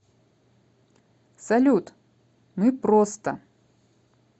салют мы просто